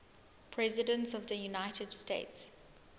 presidents of the united states